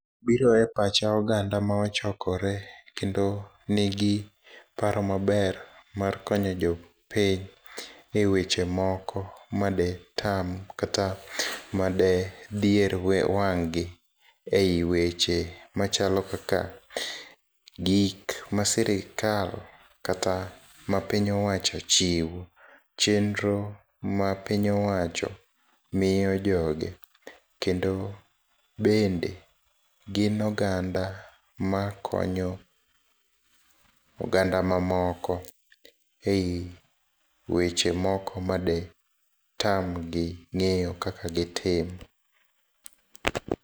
Biro e pacha oganda ma ochokore kendo nigi paro maber mar konyo jopiny e weche moko ma detam kata madedhier wang'gi ei weche machalo kaka gik ma sirikal kata ma piny owacho chiwo, chenro ma piny owacho miyo joge, kendo bende gin oganda ma konyo oganda mamoko ei weche moko ma detamgi ng'eyo kaka degitim.